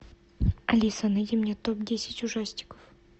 алиса найди мне топ десять ужастиков